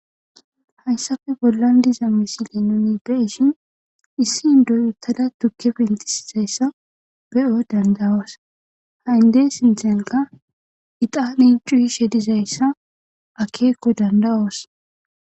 Hayissappe bollani dizza misile nunni beyishini issi indoyi uttada tukke penitisidayisda be'o daniddayosi ha inde sinithanikka ixxani cuyishe dizayissa akeko danidayosi.